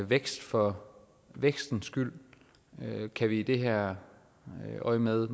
vækst for vækstens skyld kan vi i det her øjemed